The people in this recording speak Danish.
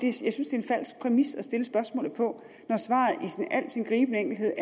en falsk præmis at stille spørgsmålet på når svaret i al sin gribende enkelhed